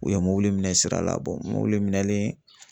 U ye mobili minɛ sira la mobili minɛnen